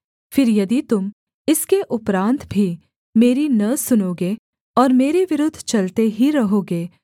फिर यदि तुम इसके उपरान्त भी मेरी न सुनोगे और मेरे विरुद्ध चलते ही रहोगे